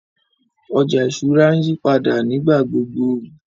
Ọjà ìṣúra ǹ yìpàdà nígbàgbogbo.